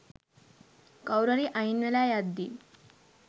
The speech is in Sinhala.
කවුරුහරි අයින් වෙලා යද්දී.